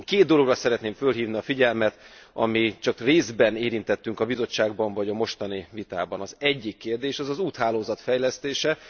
Én két dologra szeretném felhívni a figyelmet, amit csak részben érintettünk a Bizottságban, vagy a mostani vitában Az egyik kérdés az az úthálózat fejlesztése.